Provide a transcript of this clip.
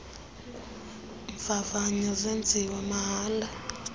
mvavanyo zenziwa mahala